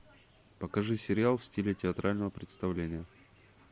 покажи сериал в стиле театрального представления